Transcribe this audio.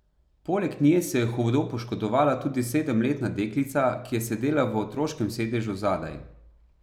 Poleg nje se je hudo poškodovala tudi sedemletna deklica, ki je sedela v otroškem sedežu zadaj.